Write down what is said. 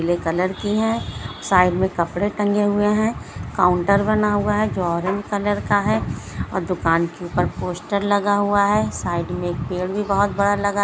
पिले कलर के हैं साइड में कपड़े टंगे हुए हैं | काउंटर बना हुआ है जो ऑरेंज कलर का है और दुकान के ऊपर पोस्टर लगा हुआ है साइड में एक पेड़ भी बहुत बड़ा लगा --